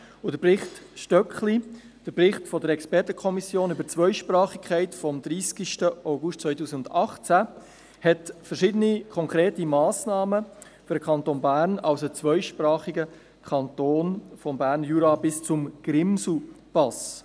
Der Bericht Stöckli, der Bericht der Expertenkommission über die Zweisprachigkeit vom 30. August 2018, beinhaltet verschiedene konkrete Massnahmen für den Kanton Bern als zweisprachigen Kanton, vom Berner Jura bis zum Grimselpass.